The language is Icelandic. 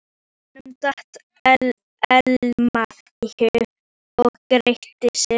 Honum datt Elma í hug og gretti sig.